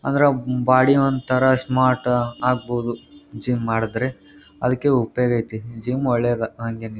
ಅಂದ್ರ ಬಾಡಿ ವಂತರ ಸ್ಮಾರ್ಟ್ ಆಗಬಹುದ್ ಜಿಮ್ ಮಾಡದ್ರೆ ಅದಕ್ಕೆ ಉಪಯೋಗ ಐತಿ ಜಿಮ್ ಒಳ್ಳೇದ್ ಹ್ಯಾಂಗೆನಿಲ್ --